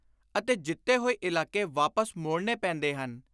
ਅਤੇ ਜਿੱਤੇ ਹੋਏ ਇਲਾਕੇ ਵਾਪਸ ਮੋੜਨੇ ਪੈਂਦੇ ਹਨ।